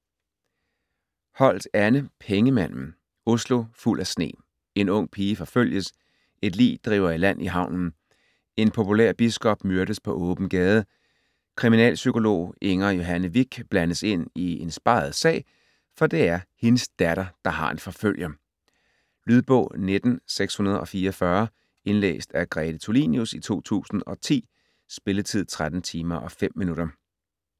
Holt, Anne: Pengemanden Oslo fuld af sne. En ung pige forfølges. Et lig driver i land i havnen. En populær biskob myrdes på åben gade. Kriminalpsykolog Inger Johanne Vik blandes ind i en speget sag, for det er hendes datter, der har en forfølger. Lydbog 19644 Indlæst af Grete Tulinius, 2010. Spilletid: 13 timer, 5 minutter.